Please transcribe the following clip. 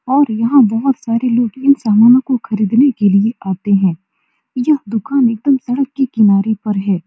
और यहाँ बहुत सारे लोग इन सामानो को खरीदने के लिए आते है यह दुकान एकदम सड़क के किनारे पर है।